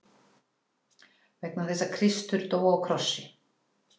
Vegna þess að Kristur dó á krossi.